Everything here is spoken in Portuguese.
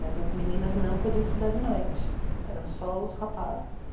Mas as meninas não podiam estudar de noite, eram só os rapazes.